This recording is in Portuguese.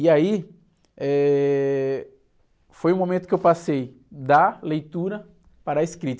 E aí, eh, foi o momento que eu passei da leitura para a escrita.